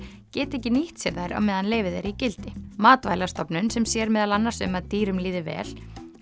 geti ekki nýtt sér þær á meðan leyfið er í gildi matvælastofnun sem sér meðal annars um að dýrum líði vel